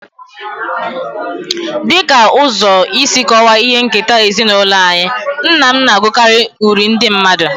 As a way of explaining our family heritage, my father I used to reciting folk poems.